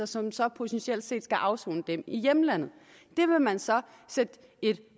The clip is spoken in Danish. som så potentielt set skal afsone den i hjemlandet det vil man så sætte et